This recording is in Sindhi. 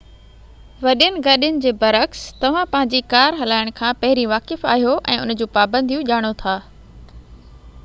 وڏين گاڏين جي بر عڪس توهان پنهنجي ڪار هلائڻ کان پهرين واقف آهيو ۽ ان جو پابنديون ڄاڻو ٿا